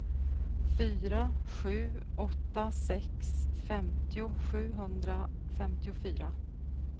fyra sju åtta sex femtio sjuhundrafemtiofyra